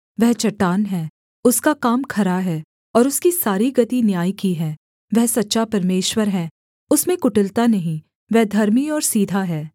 वह चट्टान है उसका काम खरा है और उसकी सारी गति न्याय की है वह सच्चा परमेश्वर है उसमें कुटिलता नहीं वह धर्मी और सीधा है